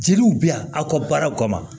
Jeliw bɛ yan aw ka baaraw kama ma